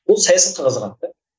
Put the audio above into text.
ол саясатқа қызығады да